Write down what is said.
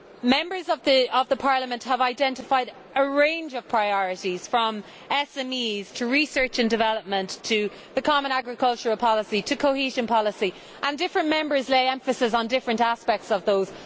Members of this Parliament have identified a range of priorities, from SMEs, to research and development, to the common agricultural policy, to cohesion policy, and different Members lay emphasis on different aspects of those.